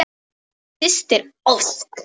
Þín systir, Ósk.